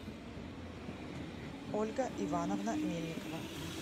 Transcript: ольга ивановна мельникова